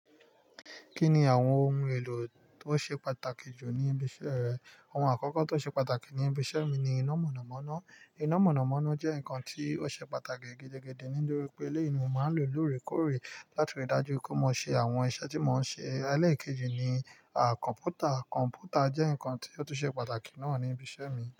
Kí ni àwọn ohun èlò tó ṣe pàtàkì jù ní ibi iṣẹ́ rẹ? Ohun àkọ́kọ́ tó ṣe pàtàkì ní ibi iṣẹ́ mi ni iná mọ̀nàmọ́ná. Iná mọ̀nàmọ́ná jẹ́ nǹkan tí ó ṣe pàtàkì gẹ́gẹ́ gẹ́gẹ́ nítorí pé eleyi nii mo máa ń lò lóòrèkóòrè láti rí dájú pé mo ṣe àwọn iṣẹ́ tí mò ń ṣe. Eléyìí kejì ni, à, kọ̀ǹpútà. Kọ̀ǹpútà jẹ́ nǹkan tí ó tún ṣe pàtàkì náà ní ibi iṣẹ́ mi.